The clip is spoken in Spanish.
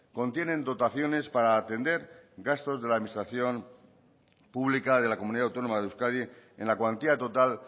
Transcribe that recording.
contienen dotaciones para atender gastos de la administración pública de la comunidad autónoma de euskadi en la cuantía total